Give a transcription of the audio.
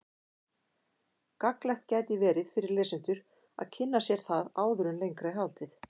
Gagnlegt gæti verið fyrir lesendur að kynna sér það áður en lengra er haldið.